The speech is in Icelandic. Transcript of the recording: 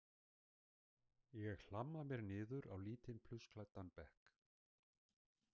Ég hlamma mér niður á lítinn plussklæddan bekk.